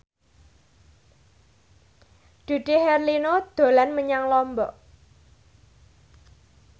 Dude Herlino dolan menyang Lombok